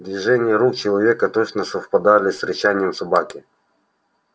движения рук человека точно совпадали с рычанием собаки